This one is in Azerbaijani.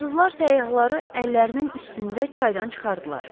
Fransızlar səyyahları əllərinin üstündə çaydan çıxardılar.